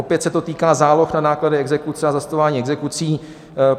Opět se to týká záloh na náklady exekuce a zastavování exekucí.